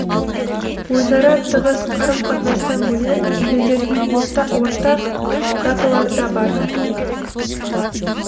өзара тығыз қарым қатынастан бөлек елдердің ортақ даталары да бар